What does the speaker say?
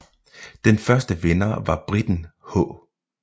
Den første vinder var briten H